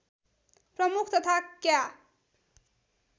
प्रमुख तथा क्या